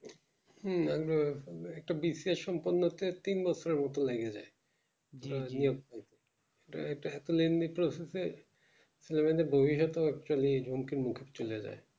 হুম একদম একটা business সম্পূর্ণ হতে তিন বছর মতো লাগে তা এটা এতো lendi process এ room toom পাচ্ছে না